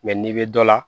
n'i bɛ dɔ la